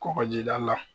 Kɔkɔjida la